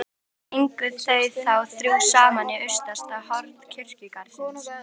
Gengu þau þá þrjú saman í austasta horn kirkjugarðsins.